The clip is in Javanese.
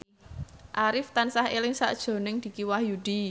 Arif tansah eling sakjroning Dicky Wahyudi